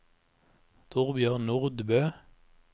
Torbjørn Nordbø